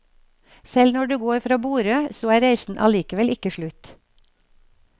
Selv når du går fra borde, så er reisen allikevel ikke slutt.